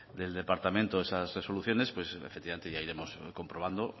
del departamento esas resoluciones efectivamente ya iremos comprobando